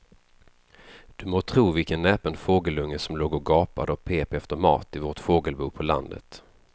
Du må tro vilken näpen fågelunge som låg och gapade och pep efter mat i vårt fågelbo på landet.